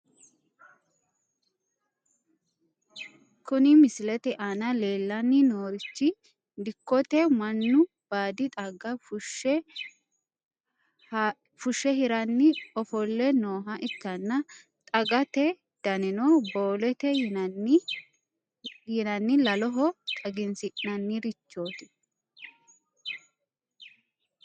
Kuni misilete aana leellanni noorichi dikkote mannu baadi xagga fushshe hiranni ofolle nooha ikkanna, xaggate danino boolete yinanni laloho xagisi'nannirichooti,